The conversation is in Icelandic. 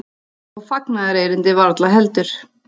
Og fagnaðarerindið varla heldur.